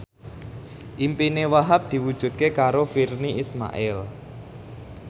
impine Wahhab diwujudke karo Virnie Ismail